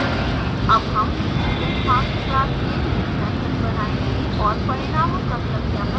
अब हम studentmarks class में main method बनायेंगे और परिणामों का सत्यापन करेंगे